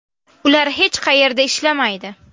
Ular hech qayerda ishlamaydi.